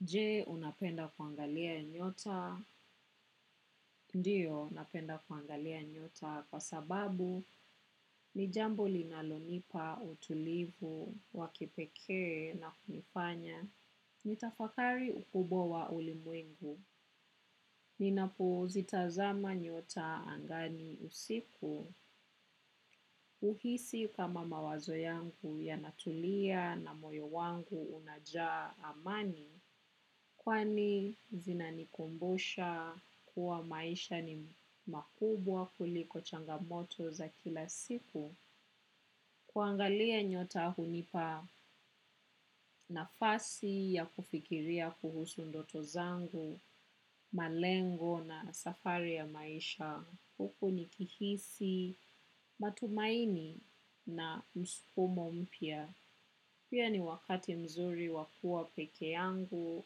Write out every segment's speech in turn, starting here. Je, unapenda kuangalia nyota. Ndiyo, napenda kuangalia nyota kwa sababu ni jambo linalonipa utulivu, wakipekee na kunifanya. Nitafakari ukubwa wa ulimwengu. Ninapozitazama nyota angani usiku uhisi kama mawazo yangu yanatulia na moyo wangu unajaa amani kwani zinanikumbusha kuwa maisha ni makubwa kuliko changamoto za kila siku. Kuangalia nyota hunipa nafasi ya kufikiria kuhusu ndoto zangu, malengo na safari ya maisha. Huku nikihisi, matumaini na msukumo mpya. Pia ni wakati mzuri wa kuwa peke yangu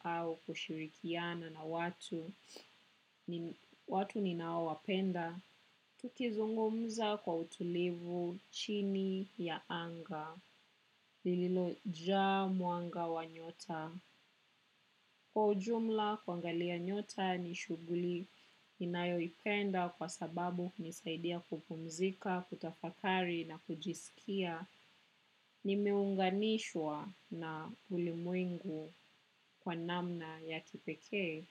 au kushirikiana na watu, nin watu ninaowapenda. Tukizungumza kwa utulivu chini ya anga, lililojaa mwanga wa nyota. Kwa ujumla kuangalia nyota ni shughuli ninayoipenda kwa sababu hunisaidia kupumzika, kutafakari na kujisikia. Nimeunganishwa na ulimwengu kwa namna ya kipekee.